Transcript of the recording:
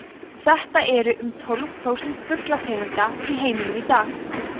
þetta eru um tólf prósent fuglategunda í heiminum í dag